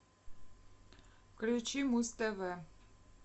включи муз тв